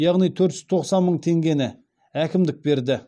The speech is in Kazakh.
яғни төрт жүз тоқсан мың теңгені әкімдік берді